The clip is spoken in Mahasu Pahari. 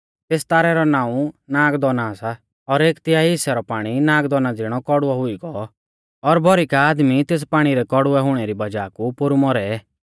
तेस तारै रौ नाऊं नागदौना सा और एक तिहाई हिस्सै रौ पाणी नागदौना ज़िणौ कौड़ुऔ हुई गौ और भौरी का आदमी तेस पाणी रै कौड़ुवै हुणै री वज़ाह कु पोरु मौरै